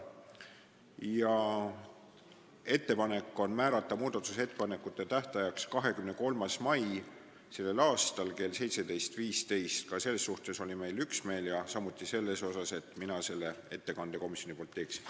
Teeme ettepaneku määrata muudatusettepanekute esitamise tähtajaks 23. mai kell 17.15, ka selles suhtes oli meil üksmeel, samuti selles, et mina selle ettekande komisjoni nimel teeksin.